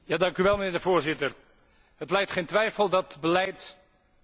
Het lijdt geen twijfel dat beleid uitvoerbaar moet zijn.